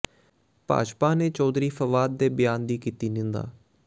ਭਾਜਪਾ ਨੇ ਚੌਧਰੀ ਫਵਾਦ ਦੇ ਬਿਆਨ ਦੀ ਕੀਤੀ ਨਿੰਦਾ